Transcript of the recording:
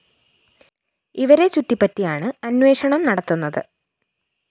ഇവരെ ചുറ്റിപ്പറ്റിയാണ് അന്വേഷണം നടത്തുന്നത്